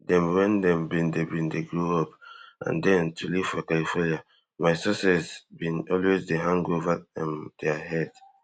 dem wen dem bin dey bin dey grow up and den to live for california my success bin always dey hang ova um dia heads